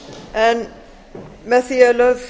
en með því er lögð